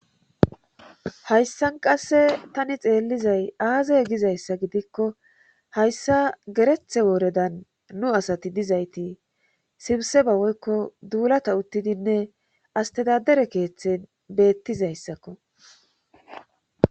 hayssan qasse tani xeellizay aazay gizayssa gidikko hayssa gerethe wooredan nu asati dizayti sibseba woykko duulata uttidinne astedadere keeththen beettizayssakko